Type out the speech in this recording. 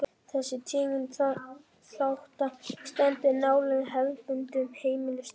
Þessi tegund þátta stendur nálægt hefðbundnum heimildaþáttum.